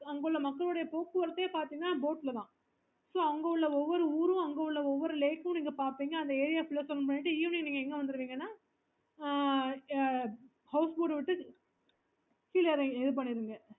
okay